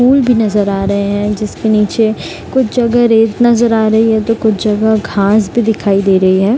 पुल भी नजर आ रहे हैं जिसके निचे कुछ जगह रेत नजर आ रही है तो कुछ जगह घांस भी दिखाई दे रही है।